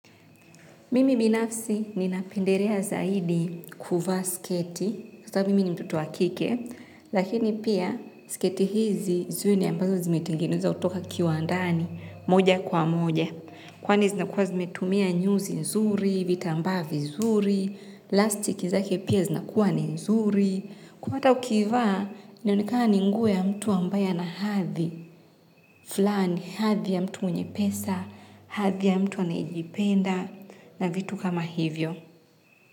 Mimi binafsi ninapendelea zaidi kuvaa sketi. Kwa sababu mimi ni mtoto wa kike. Lakini pia sketi hizi zuni ambazo zimetengenezwa kutoka kiwandani moja kwa moja. Kwani zinakuwa zimetumia nyuzi nzuri, vitambaa vizuri, lastiki zake pia zinakuwa ni nzuri. Kwa hata ukivaa, nionikana ni nguo ya mtu ambaye ana hadhi. Flani hadhi ya mtu mwenye pesa, hadhi ya mtu anaejipenda na vitu kama hivyo.